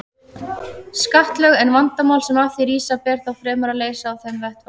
skattalög, en vandamál sem af því rísa ber þá fremur að leysa á þeim vettvangi.